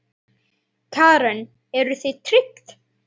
Karen: Eruð þið tryggð?